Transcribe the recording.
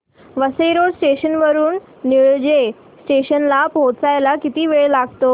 Vasai road station वरून Nilaje station ला पोहचायला किती वेळ लागतो